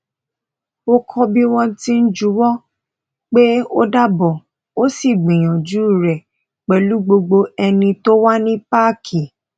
ó kọ bí wọn ti ń juwọ pé ódàbọ o sì gbìyànjú rẹ pẹlú gbogbo ẹni tó wà ní páàkì